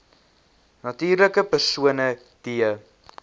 natuurlike persone d